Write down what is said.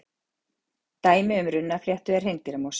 dæmi um runnafléttu er hreindýramosi